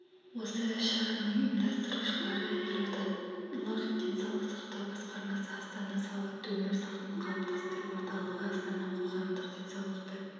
осы іс-шараның ұйымдастырушылары елордалық денсаулық сақтау басқармасы астана салауатты өмір салтын қалыптастыру орталығы астана қоғамдық денсаулықты